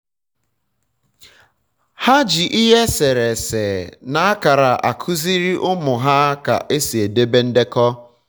ha ji ihe esere ese na akara akụziri ụmụ ha ka esi edebe ndekọ